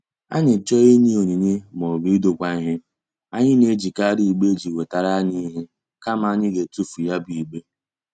Anyị chọọ inye onyinye maọbụ idokwa ihe, anyị na-ejikari igbe eji wetara anyị ihe kama anyị ga-etufu ya bụ igbe.